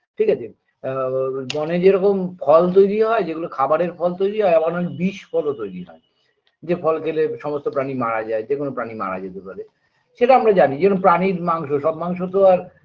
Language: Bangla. ঠিকাছে আ ব ব বনে যেরকম ফল তৈরি হয় যেগুলো খাবারের ফল তৈরি হয় আবার বিষ ফলও তৈরি হয় যে ফল খেলে সমস্ত প্রাণী মারা যায় যেকোনো প্রাণী মারা যেতে পারে সেটা আমরা জানি যেরম প্রাণীর মাংস সব মাংস তো আর